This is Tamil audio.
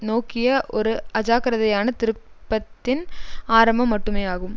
நோக்கிய ஒரு அஜாக்கிரதையான திருப்பத்தின் ஆரம்பம் மட்டுமேயாகும்